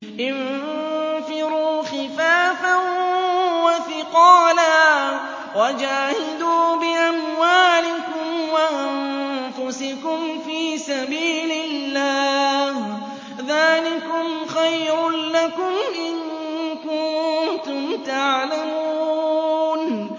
انفِرُوا خِفَافًا وَثِقَالًا وَجَاهِدُوا بِأَمْوَالِكُمْ وَأَنفُسِكُمْ فِي سَبِيلِ اللَّهِ ۚ ذَٰلِكُمْ خَيْرٌ لَّكُمْ إِن كُنتُمْ تَعْلَمُونَ